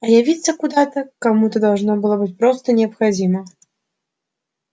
а явиться куда то кому то должно было быть просто необходимо